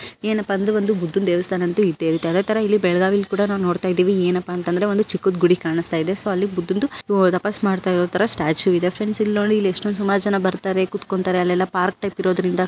ಏನಪ ಅಂದ್ರೆ ಬಂದು ಬುಧ್ಧನ ದೇವಸ್ಥಾನಂತು ಇದ್ದೆ ಇರುತ್ತೆ ಅದೆ ತರದ ಇಲ್ಲೇ ಬೆಳಗಾವಿಯಲ್ಲಿ ಕೂಡ ನೋಡ್ತಿದ್ದೀವಿ ಏನಪ್ಪ ಅಂದ್ರೆ ಒಂದು ಚಿಕ್ಕದ ಗೂಡಿ ಕಾಣುತ್ತಿದೆ ಸೊ ಅಲ್ಲಿ ಬಂದು ತಪಸ್ಸು ಮಾಡ್ತಾ ಇರೋದು ತರ ಸ್ಟ್ಯಾಚು ಇದೆ ಫ್ರೆಂಡ್ ಇಲ್ಲ ನೋಡಿ ಇಲ್ಲಿಯಾಷ್ಟೊಂದ ಸುಮಾರು ಜನ ಬರ್ತಾರೆ. ಕೂತುಕೊಂಡರೆ ಎಲ್ಲ ಎಲ್ಲಪಾರ್ಕ್ ಟೈಪ್ ಇರೋದ್ರಿಂದ.